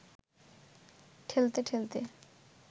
ঠেলতে ঠেলতে